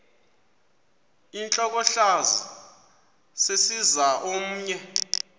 intlokohlaza sesisaz omny